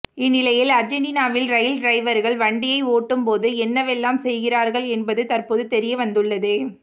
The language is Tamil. இந்நிலையில் அர்ஜென்டினாவில் ரயில் டிரைவர்கள் வண்டியை ஓட்டும்போது என்னவெல்லாம் செய்கிறார்கள் என்பது தற்போது தெரிய வந்துள்ளது